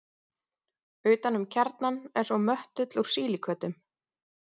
utan um kjarnann er svo möttull úr sílíkötum